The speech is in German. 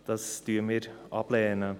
Dies lehnen wir ab.